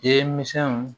Ye misɛnw